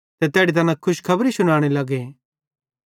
ते तैड़ी तैना खुशखबरी शुनाने लगे